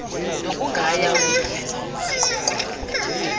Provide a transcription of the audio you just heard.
nokugaya ukuphumeza umgaqonkqubo